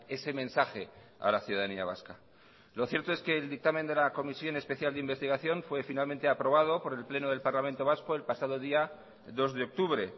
ese mensaje a la ciudadanía vasca lo cierto es que el dictamen de la comisión especial de investigación fue finalmente aprobado por el pleno del parlamento vasco el pasado día dos de octubre